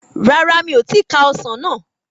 Rárá mi o ti ka ọsàn náà